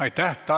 Aitäh!